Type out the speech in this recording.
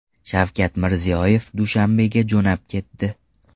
Shavkat Mirziyoyev Dushanbega jo‘nab ketdi.